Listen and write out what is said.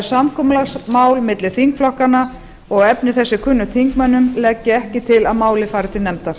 samkomulagsmál milli þingflokkanna og efni þess er kunnugt þingmönnum legg ég ekki til að málið fari til nefndar